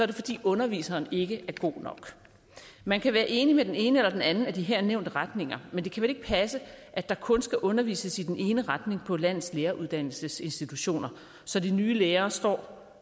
det fordi underviseren ikke er god nok man kan være enig med den ene eller anden af de her nævnte retninger men det kan vel ikke passe at der kun skal undervises i den ene retning på landets læreruddannelsesinstitutioner så de nye lærere står